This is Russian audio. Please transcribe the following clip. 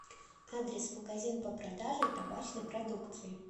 адрес магазин по продаже табачной продукции